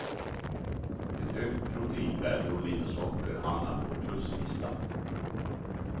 Ett högt proteinvärde och lite socker hamnar på pluslistan.